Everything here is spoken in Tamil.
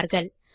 என்பார்கள்